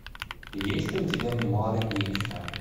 есть ли у тебя мемуары гейши